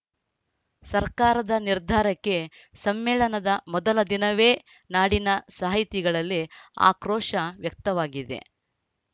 ಸರ್ಕಾರದ ನಿರ್ಧಾರಕ್ಕೆ ಸಮ್ಮೇಳನದ ಮೊದಲ ದಿನವೇ ನಾಡಿನ ಸಾಹಿತಿಗಳಲ್ಲಿ ಆಕ್ರೋಶ ವ್ಯಕ್ತವಾಗಿದೆ